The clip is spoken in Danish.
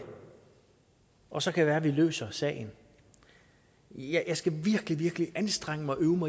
og så kan det være at de løser sagen jeg skal virkelig virkelig anstrenge mig og øve